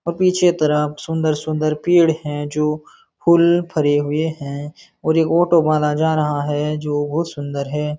और पीछे के तरफ सुंदर सुन्दर पेड़ है जो फूल फरे हुए हैं और एक ऑटो वाला जा रहा है जो बहुत सुंदर है।